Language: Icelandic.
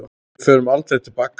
Við förum aldrei til baka.